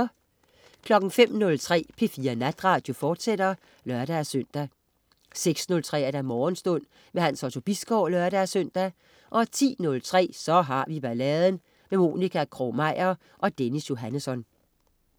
05.03 P4 Natradio, fortsat (lør-søn) 06.03 Morgenstund. Hans Otto Bisgaard (lør-søn) 10.03 Så har vi balladen. Monica Krog-Meyer og Dennis Johannesson